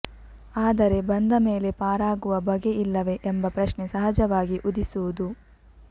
ಆದರೆ ಬಂದ ಮೇಲೆ ಪಾರಾಗುವ ಬಗೆಯಿಲ್ಲವೆ ಎಂಬ ಪ್ರಶ್ನೆ ಸಹಜವಾಗಿ ಉದಿಸುವುದು